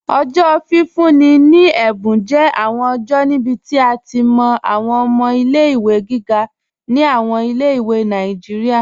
Ọjọ́ fífún ni è̩bùn jẹ́ awọn ọjọ́ níbí tí a ti mọ́ awọn ọmọ̀ ilé-ìwé gígà ni awọn ilé-ìwé Nàìjíríà.